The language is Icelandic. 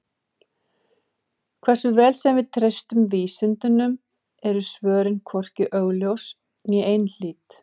Hversu vel sem við treystum vísindunum eru svörin hvorki augljós né einhlít.